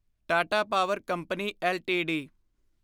Tata power company LTD